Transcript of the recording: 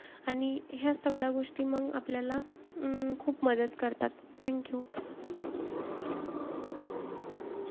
आणि याचं सगळ्या गोष्टी मंग, आपल्याला अं खूप मदत करतात. Thank you.